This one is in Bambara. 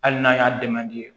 Hali n'a y'a dɛmɛ